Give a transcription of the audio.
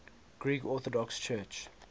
greek orthodox church